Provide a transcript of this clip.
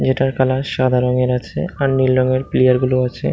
যেটার কলার সাদা রঙের আছে আর নীল রঙের প্লেয়ার গুলো আছে।